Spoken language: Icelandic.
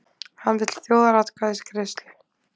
Hann vill þjóðaratkvæðagreiðslu